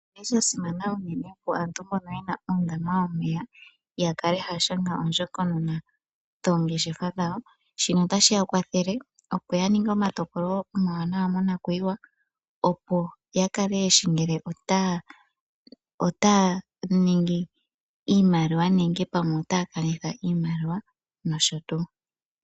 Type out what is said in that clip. Oshili shasimana unene opo aantu mbono yena uundama yomeya, ya kale haya shanga oondjokonona dhoongeshefa dhawo, shino otashi ya kwathele opo ya ninge omatokolo omawanawa monakuyiwa opo ya kale yeshi ngele otaya ningi iimaliwa nenge pamwe otaya kanitha iimaliwa nosho tuu.